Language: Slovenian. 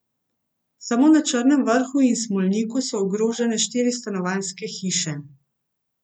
Samo na Črnem vrhu in Smolniku so ogrožene štiri stanovanjske hiše.